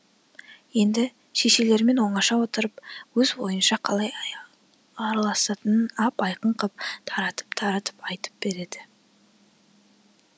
енді шешелерімен оңаша отырып өз ойынша қалай араласатынын ап айқын қып таратып таратып айтып берді